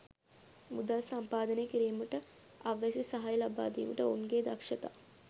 මුදල් සම්පාදනය කිරීමට අවැසි සහාය ලබා දීමට ඔවුන්ගේ දක්ෂතා